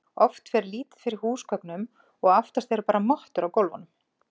oft fer lítið fyrir húsgögnum og oftast eru bara mottur á gólfunum